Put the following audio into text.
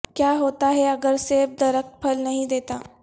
کیا ہوتا ہے اگر سیب درخت پھل نہیں دیتا